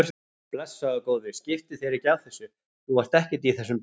Blessaður góði, skiptu þér ekki af þessu, þú átt ekkert í þessum bíl.